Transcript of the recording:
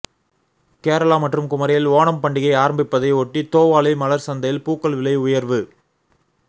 கேரளா மற்றும் குமரியில் ஓணம் பண்டிகை ஆரம்பிப்பதை ஒட்டி தோவாளை மலர் சந்தையில் பூக்கள் விலை உயர்வு